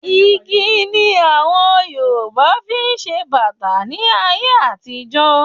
Igi ni àwọn Yorùbá fi ń ṣe bàtà ní ayé àtijọ́